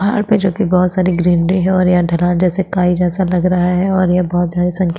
पहाड़ पे जोकि बोहोत सारी ग्रीनरी है और यहाँ ढलान जैसे काई जैसा लग रहा है और ये बोहोत सारे सनकी --